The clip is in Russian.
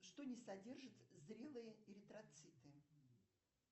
что не содержит зрелые эритроциты